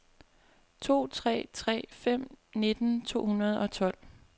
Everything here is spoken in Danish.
to tre tre fem nitten to hundrede og tolv